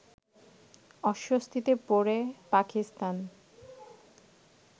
অস্বস্তিতে পড়ে পাকিস্তান